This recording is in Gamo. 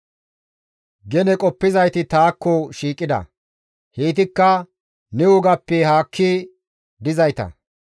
Gene qoppizayti taakko shiiqida; heytikka ne wogappe haakki dizayta.